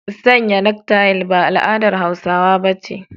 Sanya naka tayil ba al'adar Hausawa ba ce.